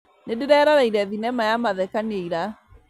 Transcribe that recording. Nĩndĩreroreire thinema ya mathekania ira